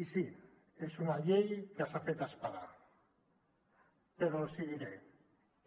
i sí és una llei que s’ha fet esperar però els diré